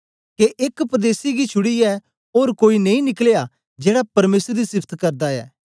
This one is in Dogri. के एस परदेसी गी छुड़ीयै ओर कोई नेई निकलया जेड़ा परमेसर दी सिफत करदा ऐ